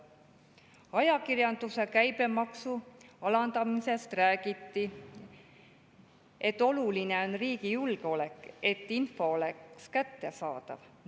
Ajakirjanduse käibemaksu alandamise kohta räägiti, et oluline on riigi julgeolek, et info oleks kättesaadav.